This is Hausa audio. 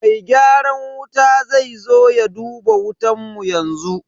Mai gyaran wuta zai zo ya duba wutan mu yanzu.